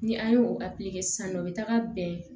Ni an ye o kɛ sisan nɔ u bi taga bɛn